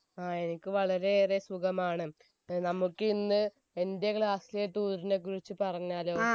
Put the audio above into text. ആ എനിക്ക് വളരെ ഏറെ സുഖമാണ് ഏർ നമുക്ക് ഇന്ന് എന്റെ class ലെ tour നെ കുറിച്ച് പറഞ്ഞാലോ